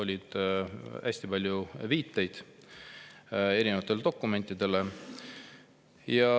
Neis on hästi palju viiteid erinevatele dokumentidele.